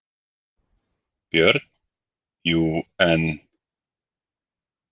BJÖRN: Jú, en.